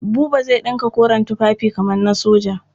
Buba zai ɗinka koren tufafi kamar na soja.